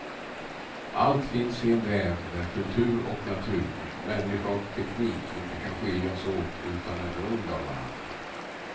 Allt finns i en väv där kultur och natur, människa och teknik inte kan skiljas åt utan är beroende av varandra.